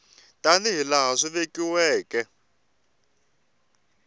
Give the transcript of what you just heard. tani hi laha swi vekiweke